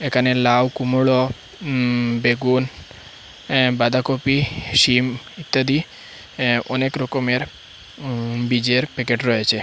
এখানে লাউ কুমড়ো উম বেগুন এ্যা বাঁধাকপি সিম ইত্যাদি এ্যা অনেক রকমের উম বীজের প্যাকেট রয়েছে।